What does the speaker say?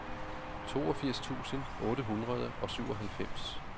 toogfirs tusind otte hundrede og syvoghalvfems